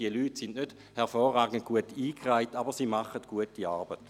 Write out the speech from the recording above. Diese Leute sind nicht hervorragend gut eingereiht, aber sie leisten gute Arbeit.